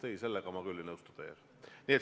Ei, selles ma küll ei nõustu teiega.